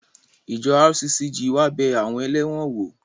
Ìjọ RCCG wá bẹ àwọn ẹlẹ́wọ̀n wò